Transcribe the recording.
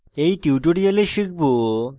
in tutorial শিখব